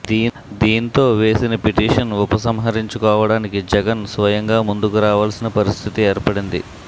దీంతో వేసిన పిటీషన్ ఉప సంహరించుకోడానికి జగన్ స్వయంగా ముందుకు రావాల్సిన పరిస్థితి ఏర్పడింది